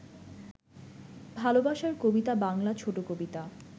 ভালবাসার কবিতা বাংলা ছোট কবিতা